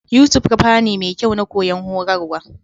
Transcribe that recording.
Yutub kafa ne mekyau Na koyon horarwa.